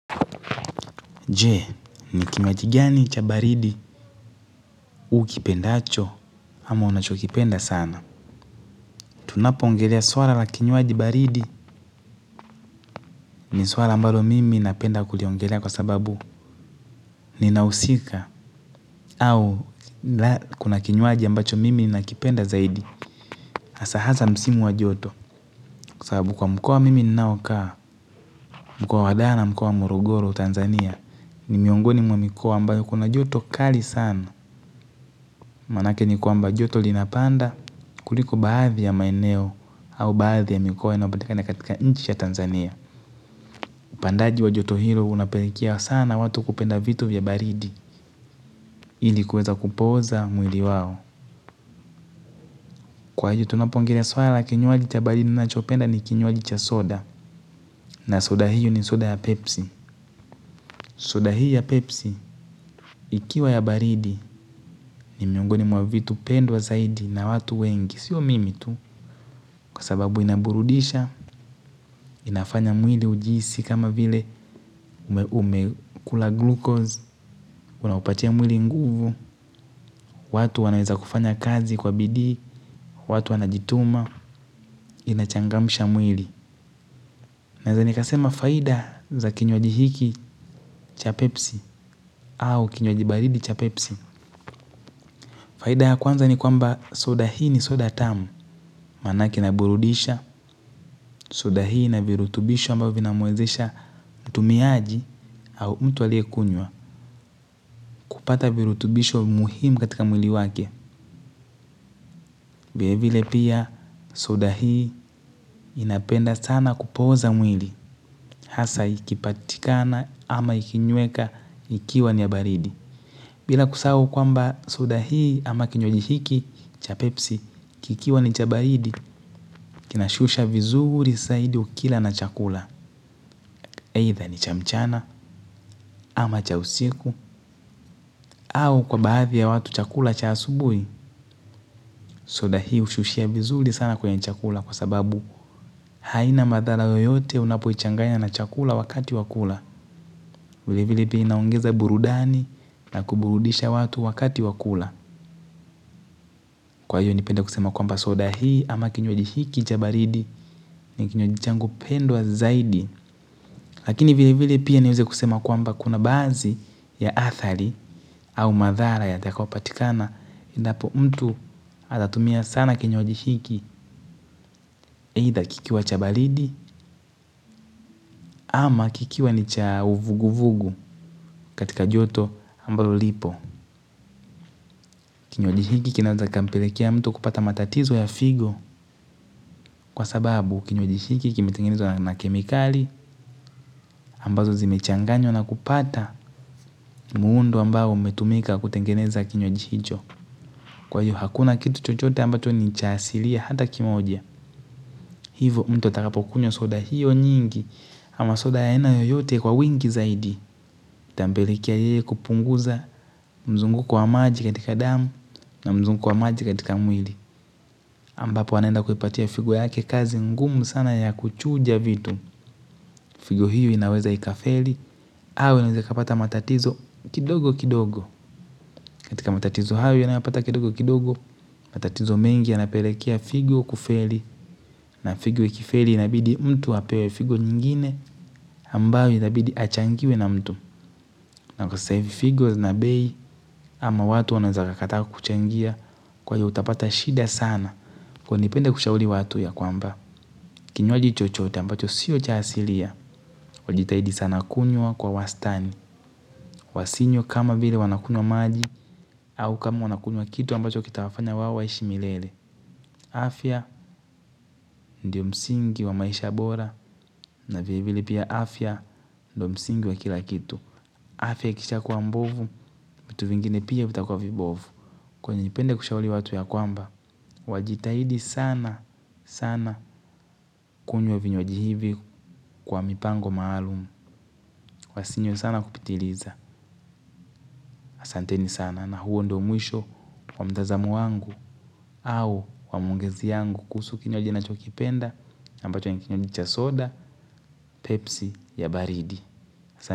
Je, ni kimaji gani cha baridi huwa ukipendacho ama unachokipenda sana. Tunapo ongelea swala la kinywaji baridi ni swala ambalo mimi napenda kuliongelea kwa sababu ninahusika au kuna kinywaji ambacho mimi nina kipenda zaidi. Hasa hasa msimu wa joto kwa sababu kwa mkoa mimi ninaokaa mkoa wa dara na mkoa wa morogoro Tanzania ni miongoni mwa mikoa ambayo kuna joto kali sana. Maanake ni kwamba joto linapanda kuliko baadhi ya maeneo au baadhi ya mikoa inayopatikana katika inchi ya Tanzania. Upandaji wa joto hilo unapelikia sana watu kupenda vitu vya baridi ili kuweza kupooza mwili wao. Kwa hiyo tunapongelea swala kinywaji cha baridi ninachopenda ni kinywaji cha soda. Na soda hiyo ni soda ya pepsi. Soda hiyo ya pepsi ikiwa ya baridi ni miongoni mwa vitu pendwa zaidi na watu wengi. Sio mimi tu kwa sababu inaburudisha, inafanya mwili ujiisi kama vile umekula glukoz, unaupatia mwili nguvu, watu wanaweza kufanya kazi kwa bidii, watu wanajituma, inachangamisha mwili. Nadhani kasema faida za kinywaji hiki cha pepsi au kinywaji baridi cha pepsi. Faida ya kwanza ni kwamba soda hii ni soda tamu. Maanake inaburudisha, soda hii na virutubisho ambao vinamwezesha mtumiaji au mtu aliyekunywa. Kupata virutubisho muhimu katika mwili wake. Vile vile pia soda hii inapenda sana kupooza mwili. Hasa ikipatikana ama ikinyweka ikiwa ni ya baridi. Bila kusau kwamba soda hii ama kinywaji hiki cha pepsi, kikiwa ni cha baridi, kinashusha vizuri zaidi ukila na chakula. Either ni cha mchana, ama cha usiku, au kwa baadhi ya watu chakula cha asubuhi, soda hii hushushia vizuri sana kwenye chakula kwa sababu haina madhara yoyote unapoichanganya na chakula wakati wa kula. Vilevile pia inaongeza burudani na kuburudisha watu wakati wakula. Kwa hiyo nipende kusema kwamba soda hii ama kinywaji hiki chabaridi ni kinywaji changu pendwa zaidi. Lakini vile vile pia niweze kusema kwamba kuna badhii ya athari au madhara yatakayo patikana indapo mtu atatumia sana kinywaji hiki either kikiwa cha baridi ama kikiwa ni cha uvugu vugu katika joto ambalo lipo kinywaji hiki kinaweza kikampelekea mtu kupata matatizo ya figo kwa sababu kinywaji hiki kimetengenezwa na kemikali ambazo zimechanganywa na kupata muundo ambao umetumika kutengeneza kinywaji hicho. Kwa hiyo hakuna kitu chochote ambacho nicha asilia hata kimoja. Hivo mtu atakapokunywa soda hiyo nyingi ama soda ya aina yoyote kwa wingi zaidi. Tambelikia ye kupunguza mzunguko wa maji katika damu na mzunguko wa maji katika mwili. Ambapo anenda kuipatia figo yake kazi ngumu sana ya kuchuja vitu. Figo hiyo inaweza ikafeli, hawa inaweza kapata matatizo kidogo kidogo. Katika matatizo hayo yanayopata kapata kidogo kidogo, matatizo mengi ya yanapelekea figo kufeli. Na figo ikifeli inabidi mtu apewe figo nyingine ambayo inabidi achangiwe na mtu. Na kwa sahivi figo zina bei ama watu wanaweza kakataa kukuchangia kwa iyo utapata shida sana kwa iyo nipende kushauri watu ya kwamba. Kinywaji chochote ambacho siyo cha asilia wajitahidi sana kunywa kwa wastani. Wasinywe kama vile wanakunywa maji au kama wanakunywa kitu ambacho kitawafanya wao waishi milele. Afya ndio msingi wa maisha bora. Na vile vile pia afya ndio msingi wa kila kitu. Afya ikisha kuwa mbovu vitu vingine pia vitakwa vibovu. Kwa iyo nipende kushauri watu ya kwamba wajitahidi sana sana kunywa vinywaji hivi kwa mipango maalum wasinywe sana kupitiliza ahsanteni sana na huo ndio mwisho wa mtazamo wangu au wa maongezi yangu kuhusu kinywaji ninachokipenda ambacho ni kinywaji cha soda pepsi ya baridi.